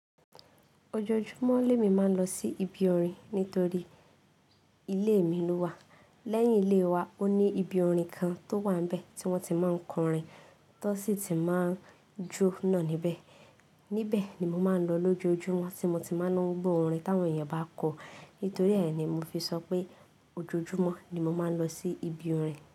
Ojoojúmọ́ le mí ma ń lọ sí ibi orin nítorí ilé mi ló wà. Lẹ́yìn ilé wa, ó ní ibi orin kan tó wà níbẹ̀ tí wọ́n ti máa ń kọ orin, tó sì ti máa ń jóná níbẹ̀. Níbẹ̀ ni mo máa ń lọ lójoojúmọ́ tí mo ti máa ń lo gbo orin táwọn èèyàn bá kọ. Nítorí è ni mo fi sọ pé ojoojúmọ́ ni mo máa ń lọ sí ibi orin.